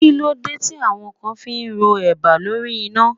Kí ló dé tí àwọn kan fi ń ro eba lórí iná?